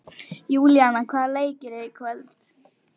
Júlíana, hvaða leikir eru í kvöld?